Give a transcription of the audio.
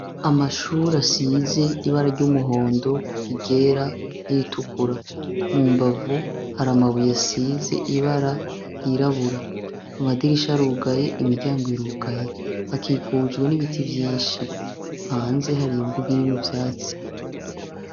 Amashure asize ibara ry'umuhondo, iryera n'iritukura. Mu mbavu hari amabuye asize ibara ryirabura, amadirisha arugaye, imiryango irugaye, hakikujwe n'ibiti vyinshi. Hanze hari imbuga irimwo ivyatsi.